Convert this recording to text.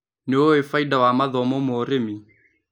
Nĩũĩ bainda wa mathomo ma ũrĩmi.